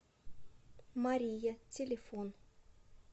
мария телефон